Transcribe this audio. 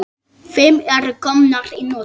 Fimm eru komnar í notkun.